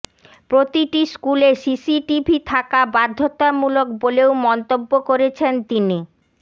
প্রতিটি স্কুলে সিসিটিভি থাকা বাধ্যতামূলক বলেও মন্তব্য করেছেন তিনি